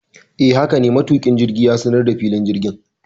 Hakane, matuki jirgin ya sanar da filin jirgin